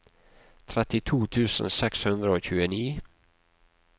trettito tusen seks hundre og tjueni